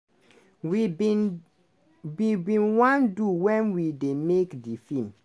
we bin wan do wen we dey make di feem."